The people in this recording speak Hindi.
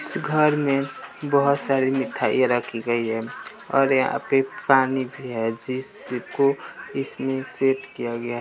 इस घर में बहोत सारी मिठाइयां रखी गई हैं और यहां पे पानी भी है जिसको इसमें सेट किया गया--